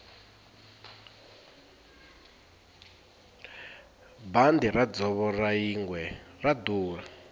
bandi ra dzovo ra yingwe ra durha